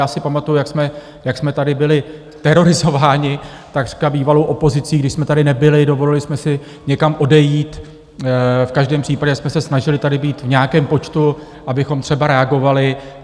Já si pamatuji, jak jsme tady byli terorizováni takřka bývalou opozicí, když jsme tady nebyli, dovolili jsme si někam odejít, v každém případě jsme se snažili tady být v nějakém počtu, abychom třeba reagovali.